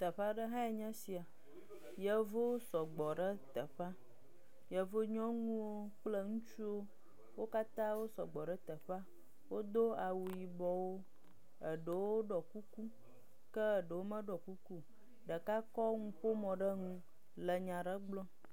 E aɖe hãe nye esia. Yevuwo sɔgbɔ ɖe teƒea. Yevu nyɔnuwo kple ŋutsuwo wo katã wo sɔgbɔ ɖe teƒea. Wodo awu yibɔwo eɖewo ɖɔ kuku ke eɖewo meɖɔ kuku wo. Ɖeka kɔ nuƒomɔ ɖe nu le nya aɖe gblɔm.